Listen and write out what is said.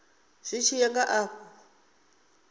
zwi tshi ya nga afho